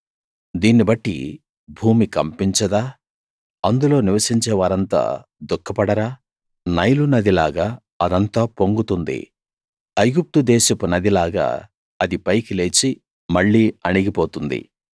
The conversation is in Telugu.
దీన్ని బట్టి భూమి కంపించదా అందులో నివసించే వారంతా దుఃఖపడరా నైలునది లాగా అదంతా పొంగుతుంది ఐగుప్తుదేశపు నదిలాగా అది పైకి లేచి మళ్ళీ అణిగి పోతుంది